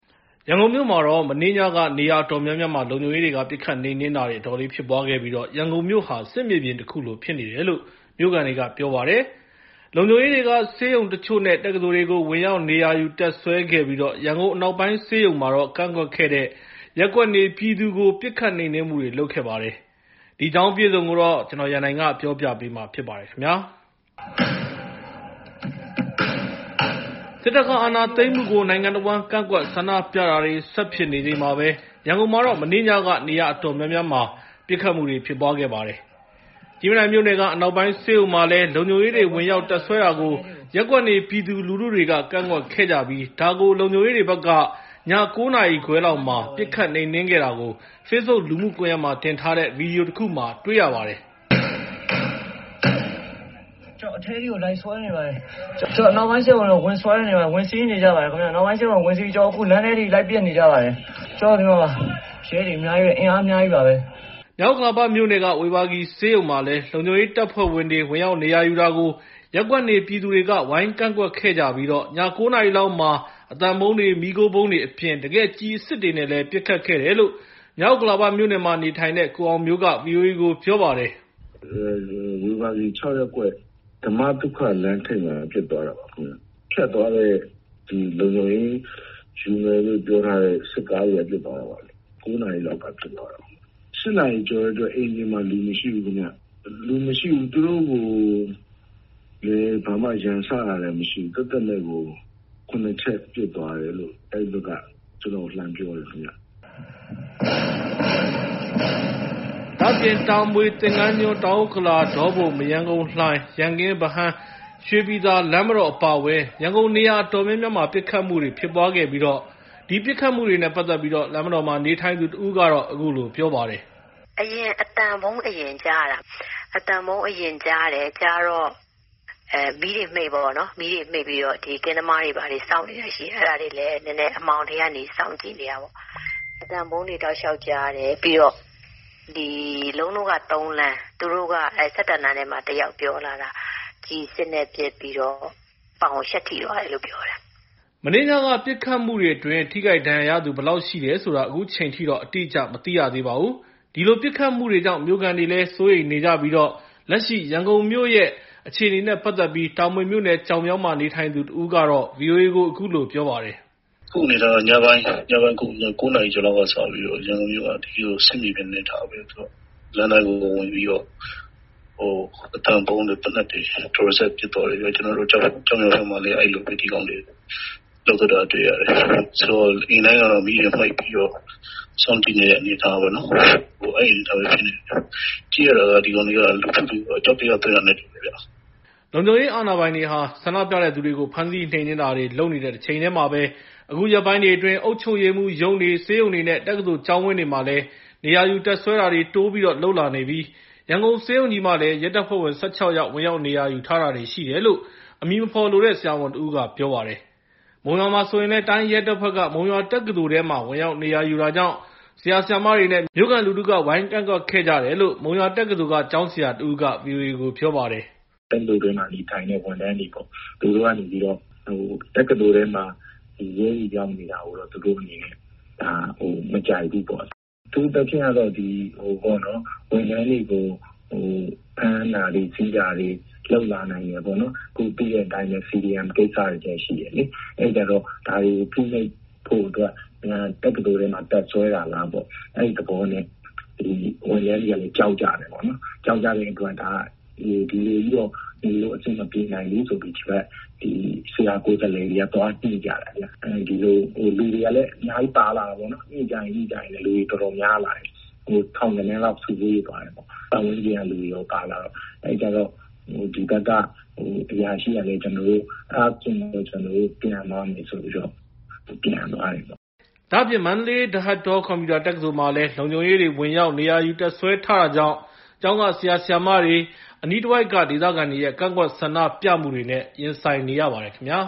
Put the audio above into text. ရန်ကုန်မြို့ မှာတော့ တနင်္ဂနွေ မနေ့ညက နေရာအတော်များများမှာ လုံခြုံရေးတွေက ပစ်ခတ်နှိမ်နှင်းတာတွေ အတော်လေးဖြစ်ပွားခဲ့ပြီး၊ ရန်ကုန်မြို့ဟာ စစ်မြေပြင်တခုလိုဖြစ်နေတယ်လို့ မြိုခံတွေက ပြောပါတယ်။ စစ်တပ်နဲ့ ရဲတပ်ဖွဲ့ဝင်တွေက ဆေးရုံတချို့ နဲ့ တက္ကသိုလ်တွေကို ဝင်ရောက်နေရာယူ တပ်စွဲခဲ့ပြီး၊ ရန်ကုန် အနောက်ပိုင်းဆေးရုံမှာတော့ ကန့်ကွက်တဲ့ ရပ်ကွက်နေပြည်သူတွေကို ပစ်ခတ်နှိမ်နှင်းမှုတွေ လုပ်ခဲ့ပါတယ်။ ဒီအကြောင်းအပြည့်အစုံကိုတော့ ကိုရန်နိုင်က ပြောပြမှာဖြစ်ပါတယ်။ စစ်တပ်ကအာဏာသိမ်းမှုကို နိုင်ငံတဝန်း ကန့်ကွက်ဆန္ဒပြတာတွေ ဆက်ဖြစ်နေချိန်မှာပဲ၊ ရန်ကုန်မှာတော့ မနေ့ညက နေရာ အတော်များများမှာ ပစ်ခတ်မှုတွေ ဖြစ်ပွားခဲ့ပါတယ်။ ကြည့်မြင်တိုင်မြို့နယ်က အနောက်ပိုင်းဆေးရုံမှာလည်း လုံခြုံရေးတွေ ဝင်ရောက်တပ်စွဲတာကို ရပ်ကွက်နေပြည်သူလူထုတွေက ကန့်ကွက်ခဲ့ကြပြီး၊ ဒါကို လုံခြုံရေးတွေဘက်က ည ၉ နာရီခွဲ လောက်မှာတော့ ပစ်ခတ်နှိမ်နှင်းခဲ့တာကို Facebook လူမှုကွန်ရက်မှာ တင်ထားတဲ့ ဗီဒီယိုတခုမှာ တွေ့ရပါတယ်။ "... ကျနော်တို့ အနောက်ပိုင်းဆေးရုံကို ဝင်စီးပြီး ဝင်ဆွဲ နေကြပါတယ် ။ လမ်းထဲထိ ဝင်ပစ်နေပါတယ်။ ရဲတွေ အင်အား အများကြီးပါ.... " မြောက်ဥက္ကလာမြို့နယ်က ဝေဘာဂီဆေးရုံမှာလည်း လုံခြုံရေးတပ်ဖွဲ့တွေ ဝင်ရောက်နေရာယူတာကို ရပ်ကွက်နေပြည်သူတွေက ဝိုင်းကန့်ကန့်ကွက်ခဲ့ပြီး၊ ည ၉ နာရီ လောက် အသံဗုံးတွေ၊ မီးခိုးဗုံးတွေအပြင် တကယ် ကျည်အစစ်တွေနဲ့ပါ ပစ်ခတ်ခဲ့တယ်လို့ မြောက်ဥက္ကလာမြို့နယ်မှာနေထိုင်တဲ့ ကိုအောင်မျိုးက ဗိအိုအေကို ပြောပါတယ်။ " ဝေဘာဂီ ၆ ရပ်ကွက် ဓမ္မသုခ လမ်းထိပ်မှာ ဖြစ်သွားတာပါ။ ဖြတ်သွားတဲ့ လုံခြုံရေးစစ်ကားတွေက ပစ်သွားတာပါခင်ဗျ။ ၉ နာရီလောက်က ဖြစ်သွားတာ။ ၈ နာရီကျော်ကတည်းက အိမ်ပြင်မှာ လူမရှိဘူးခင်ဗျ။ သူတို့ကိုလည်း ဘာမှ ရန်စတာမျိုးလည်း မရှိပဲနဲ့ သက်သက်မဲ့ကို ၇ ချက်ပစ်သွားတယ်လို့ အဲဒီဘက်က ကျနော့်ကို လှမ်းပြောတယ်ခင်ဗျ။ " ဒါ့အပြင် တာမွေမြို့နယ် ကျောက်မြောင်း ၊ သင်္ကၤန်းကျွန်း၊ တောင်ဥက္ကလာ၊ ဒေါပုံ၊ မရမ်းကုန်း လှိုင်၊ ရန်ကင်း ၊ ဗဟန်း ရွှေပြည်သာမြို့နယ်တွေ အပါအဝင် ရန်ကုန်မြို့ နေရာ အတော်များများမှာ ပစ်ခတ်မှုတွေဖြစ်ပွားခဲ့ပြီး လမ်းမတော်မှာ နေထိုင်သူတဦးက အခုလို ပြောပါတယ်။ " အသံဗုံးသံကို အရင်ကြားရတာ။ ကြားတော့ာ မီးတွေမှိတ်လိုက်တယ်ပေါ့။ ကင်းသမားတွေ ဘာတွေကလည်း ရှိတော့ သူတို့လည်း အမှောင်ထဲကနေ စောင့်ကြည့်နေတာပေါ့။ ကျမတို့က ၃ လမ်း ၊ သူတို့က ၁၁ လမ်းမှာနေတဲ့သူတွေ သူတို့က လှမ်းပြောတာက..ကျည်အစစ်နဲ့ ပစ်တော့ ပေါင်ကို ရှပ်ထိသွားတယ်လို့ ပြောတယ်။ " မနေ့ညက ပစ်ခတ်မှုတွေအတွင်း ထိခိုက်ဒဏ်ရာရသူ ဘယ်လောက်ရှိတယ်ဆိုတာကို အခုချိန်ထိ အတိအကျမသိရသေးပါဘူး။ ဒီလို ပစ်ခတ်မှုတွေကြောင့် မြို့ခံတွေဟာ စိုးရိမ်နေကြပြီး ၊ လက်ရှိရန်ကုန်မြို့ရဲ့ လက်ရှိဖြစ်နေတဲ့ အခြေအနေနဲ့ ပတ်သက်ပြီး တာမွေမြို့နယ် ကျောက်မြောင်း မှာ နေထိုင်သူတဦးကတော့ ဗီအိုအေကို အခုလို ပြောပါတယ်။ " အခုအနေအထားက ညပိုင်း ၉ နာရီဆိုရင် ရန်ကုန်မြို့က စစ်မြေပြင်လို အနေအထားဖြစ်နေတယ်။ လမ်းတိုင်းကို ဝင်ဝင်ပြီးတော့ အသံဗုံးတွေ သေနတ်တွေနဲ့ ဒလစပ် ပစ်သွားတယ်။ ကျနော်တို့ ကျောက်မြောင်းဖက်မှာလည်း ဒီကောင်တွေ အဲဒီလိုပဲ လုပ်သွားတာ တွေ့ရတယ်။ ဆိုတော့ အိမ်တိုင်းကတော့ မီးတွေ မှိတ်ပြီးတော့ စောင့်ကြည့်နေရတဲ့ အနေအထားပဲ ဖြစ်နေတာပေါ့။ ကြည့်ရတာ ဒီကောင်တွေက လူထုကို အကြောက်တရား သွင်းတာနဲ့တူတယ်။ " လုံခြုံရေးအာဏာပိုင်တွေဟာ ဆန္ဒပြတဲ့သူတွေကို ဖမ်းဆီးနှိမ်နှင်းတာ တွေလုပ်နေတဲ့တချိန်တည်းမှာပဲ၊ အခုရက်ပိုင်းတွေအတွင်း အုပ်ချုပ်ရေးမှူးရုံးတွေ၊ ဆေးရုံတွေ၊ နဲ့ တက္ကသိုလ်ကျောင်းဝင်းတွေမှာလည်း နေရာယူတပ်စွဲတာတွေ တိုးပြီးလုပ်လာနေပြီး ရန်ကုန်ဆေးရုံးကြီးမှာလည်း ရဲတပ်ဖွဲ့ဝင် ၁၆ ယောက် ဝင်ရောက်နေရာယူထားတာတွေရှိတယ်လို့ အမည်မဖော်လိုတဲ့ ဆရာဝန်တဦးက ပြောပါတယ်။ မုံရွာမှာဆိုရင်လည်း တိုင်းရဲတပ်ဖွဲ့က မုံရွာတက္ကသိုလ်ထဲမှာ ဝင်ရောက်နေရာယူတာကြောင့် ဆရာ၊ ဆရာမတွေ နဲ့ မြို့ခံလူထုက ဝိုင်းဝန်းကန့်ကွက်ခဲ့ကြပြီး မုံရွာတက္ကသိုလ်ကကျောင်းဆရာတဦးက ဗီအိုအေပြောပါတယ်။ " တက္ကသိုလ်ထဲမှာ နေထိုင်တဲ့ ဝန်ထမ်းတွေပေါ့၊ သူတို့က နေပြီးတော့ တက္ကသိုလ်ထဲမှာ အခုလို ရဲတွေ ရောက်နေတာကို သူတို့ မကြိုက်ဘူးပေါ့။ အထူးသဖြင့်တော့ ဝန်ထမ်းတွေကို ဖမ်းဆီးတာတွေ လုပ်လာနိုင်တယ်ပေါ့။ ခု သိတဲ့အတိုင်းပဲ CDM ကိစ္စတွေလည်း ရှိတယ်လေ။ အဲဒီအခါကျတော့ ဒါတွေကို ဖိနှိပ်ဖို့အတွက် တက္ကသိုလ်ထဲလာပြီး တပ်စွဲတာလားပေါ့။ အဲဒီသဘောနဲ့ ဝန်ထမ်းတွေက ကြောက်ကြတယ်ပေါ့။ ကြောက်ကြတဲ့အတွက် ဒီလိုကြီးတော့ နေလို့ အဆင်မပြေနိုင်ဘူးဆိုပြီး ဒီဘက်က ဆရာကိုယ်စားလှယ်တွေက သွားညှိကြတယ်။ လူတွေကလည်း အများကြီး ပါလာတာပေါ့။ ညှိကြရင်းနဲ့ လူတွေပိုများလာတယ်။ ပတ်ဝန်းကျင်ကလူတွေပါ ပါလာတော့ ထောင်ဂဏန်းကျော် ဖြစ်သွားတယ်။ အဲဒီခါကျတော့ သူတို့ဘက်က အရာရှိက ဘာပြောလည်းဆိုတော့ အဲဒါဆိုရင် ကျနော်တို့ ပြန်မယ်ဆိုပြီး ပြန်လစ်သွားကြတယ်။ " မန္တလေး ဒဟတ်တော ကွန်ပျူတာတက္ကသိုလ်မှာတော့ လုံခြုံရေးတွေ ဝင်ရောက်နေရာယူတပ်စွဲတာတွေကြောင့် ကျောင်းက ဆရာ ဆရာမှာတွေ နဲ့ အနိးတဝိုက်ကဒေသခံတွေရဲ့ ကန့်ကွက်ဆန္ဒပြမှုတွေ နဲ့ ရင်ဆိုင်နေရပါတယ်ခင်ဗျာ